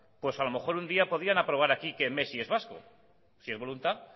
pues a lo mejor un día podrían aprobar aquí que messi es vasco si es voluntad